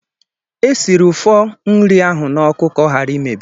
Esiri ụfọ nri ahụ n'oku ka ọ hara imebi.